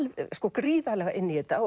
gríðarlega inn í þetta